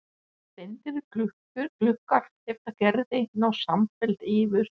Steindir gluggar eftir Gerði ná samfellt yfir